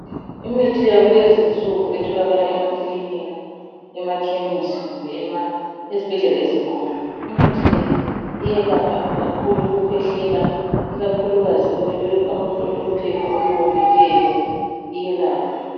Imithi yakulezi nsuku etholakala ema kilinika , ema Chemistry kumbe ezibhedlela ezinkulu. Imithi Le iyelapha kakhulu ukukhwehlela ikakhulukazi abantu abalo phepha oluwomileyo iyelapha